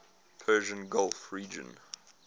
persian gulf region